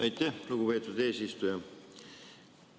Aitäh, lugupeetud eesistuja!